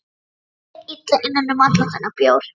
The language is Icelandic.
Mér leið illa innan um allan þennan bjór.